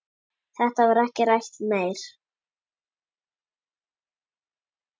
Þetta var ekki rætt meir.